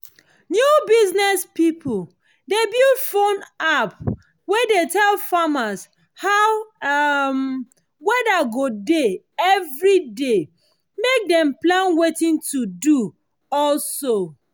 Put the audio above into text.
new business pipo dey build phone app wey dey tell farmer how um weather go dey everyday mek dem plan wetin to do um